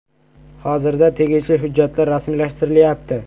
Hozirda tegishli hujjatlar rasmiylashtirilayapti.